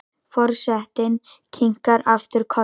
Forsetinn kinkar aftur kolli.